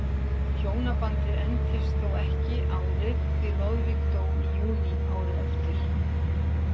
Hjónabandið entist þó ekki árið því Loðvík dó í júní árið eftir.